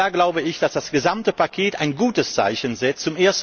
Und da glaube ich, dass das gesamte Paket ein gutes Zeichen setzt.